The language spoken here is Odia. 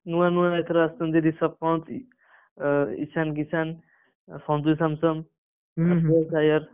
ନୂଆ ନୂଆ ଏଥର ଆସିଛନ୍ତି ରିଷଭ ପନ୍ତ ଏ ଇଶାନ କିଶାନ ସଞ୍ଜୁ ସମସନ ଶ୍ରେୟା ଶାୟାର,